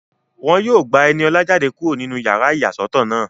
Wọ́n yóò gba Ẹniọlá jáde kúrò nínú yàrá ìyàsọ́tọ̀ náà